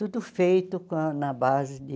Tudo feito com na base de...